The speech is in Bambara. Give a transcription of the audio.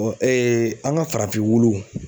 an ka farafin wulu